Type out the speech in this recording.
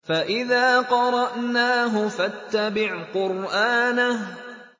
فَإِذَا قَرَأْنَاهُ فَاتَّبِعْ قُرْآنَهُ